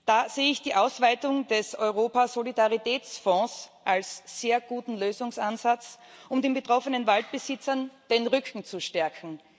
Da sehe ich die Ausweitung des Europäischen Solidaritätsfonds als sehr guten Lösungsansatz, um den betroffenen Waldbesitzern den Rücken zu stärken.